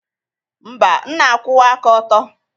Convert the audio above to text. Mba, m na-akwụwa aka ọtọ.